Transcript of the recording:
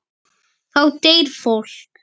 Þá deyr fólk.